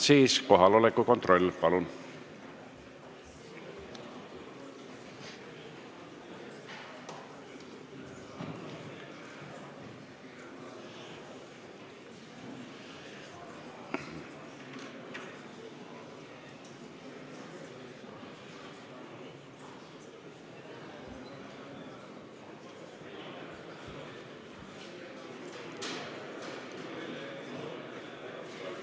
Siis kohaloleku kontroll, palun!